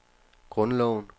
grundloven